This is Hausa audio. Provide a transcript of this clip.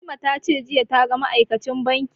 Fatima ta ce jiya ta ga ma'aikacin banki